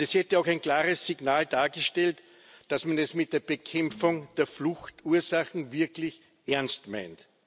Es hätte auch ein klares Signal dargestellt, dass man es mit der Bekämpfung der Fluchtursachen wirklich ernst meint.